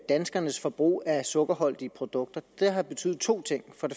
danskernes forbrug af sukkerholdige produkter det har betydet to ting